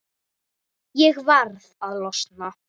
Ég varð að losna.